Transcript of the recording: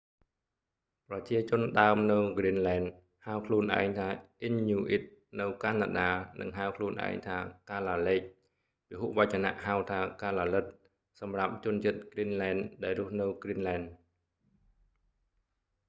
ប្រជាជនដើមនៅគ្រីនលែន ហៅខ្លួនឯងថាអ៊ីនញូអ៊ីតនៅកាណាដា និងហៅខ្លួនឯងថាកាឡាលេក ពហុវចនហៅថា កាឡាលិត សម្រាប់ជនជាតិគ្រីនលែន ដែលរស់នៅគ្រីនលែន